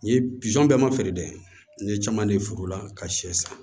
N ye pizɔn bɛɛ ma feere dɛ n ye caman de ye furu la ka sɛ san